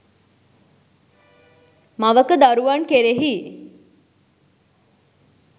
මවක දරුවන් කෙරෙහි